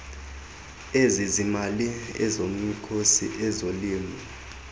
ezezimali ezomkhosi ezolimo